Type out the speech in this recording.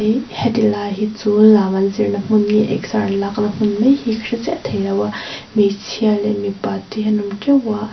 heti lai hi chu lam an zir na hmun nge exer an lak na hmun mai hi ka hre theilo a hmeichhia leh mipa te hi an awm teuh a--